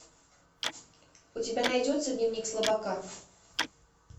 у тебя найдется дневник слабака